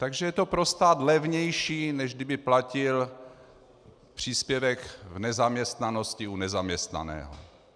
Takže je to pro stát levnější, než kdyby platil příspěvek v nezaměstnanosti u nezaměstnaného.